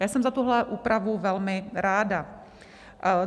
Já jsem za tuhle úpravu velmi ráda.